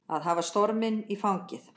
Að hafa storminn í fangið